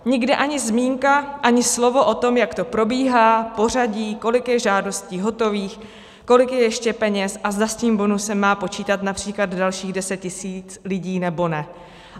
Nikde ani zmínka, ani slovo o tom, jak to probíhá, pořadí, kolik je žádostí hotových, kolik je ještě peněz a zda s tím bonusem má počítat například dalších deset tisíc lidí, nebo ne.